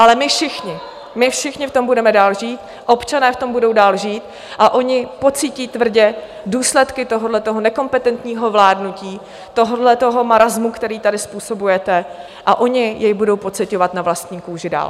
Ale my všichni, my všichni v tom budeme dále žít, občané v tom budou dál žít, a oni pocítí tvrdě důsledky tohoto nekompetentního vládnutí, tohoto marasmu, který tady způsobujete, a oni jej budou pociťovat na vlastní kůži dál.